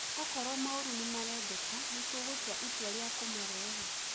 Okorwo maoru nĩmarendeka nĩtũgũtua itua rĩa kũmarehe